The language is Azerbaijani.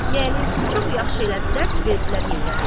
Yəni çox yaxşı elədilər ki, verdilər Heydərə.